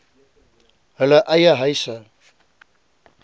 hulle eie huise